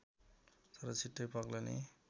तर छिटै पग्लने